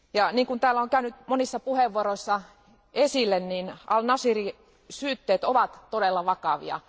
Niin kuin täällä on käynyt monissa puheenvuoroissa ilmi, niin al Nashirin syytteet ovat todella vakavia.